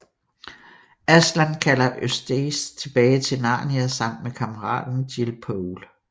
Aslan kalder Eustace tilbage til Narnia sammen med kammeraten Jill Pole